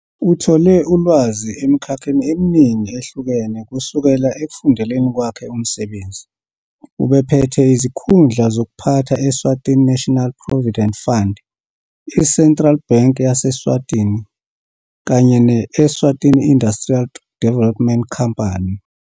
Uthole ulwazi emikhakheni eminingi ehlukene kusukela ekufundeleni kwakhe umsebenzi ubephethe izikhundla zokuphatha Eswatini National Provident Fund, i-Central Bank yase-Eswatini kanye ne-Eswatini Industrial Development Company.